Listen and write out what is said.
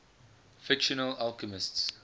fictional alchemists